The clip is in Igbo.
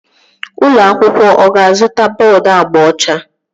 Ụlọ akwụkwọ ọ ga-azụta bọọdu agba ọcha?